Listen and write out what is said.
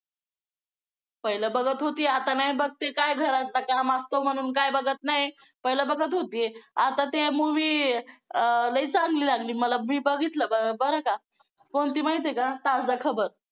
पहिलं बघत होती आता नाही बघती काय घरातलं काम असतो म्हणून काय बघत नाही. पहिलं बघत होती. आता ते movie अं लई चांगली लागली मला मी बघितलं बरं का? कोणती माहिती आहे का ताजा खबर